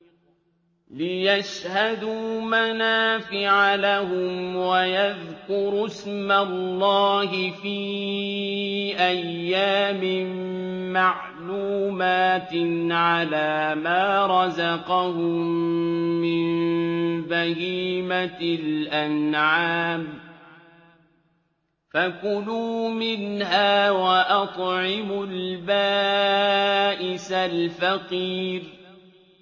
لِّيَشْهَدُوا مَنَافِعَ لَهُمْ وَيَذْكُرُوا اسْمَ اللَّهِ فِي أَيَّامٍ مَّعْلُومَاتٍ عَلَىٰ مَا رَزَقَهُم مِّن بَهِيمَةِ الْأَنْعَامِ ۖ فَكُلُوا مِنْهَا وَأَطْعِمُوا الْبَائِسَ الْفَقِيرَ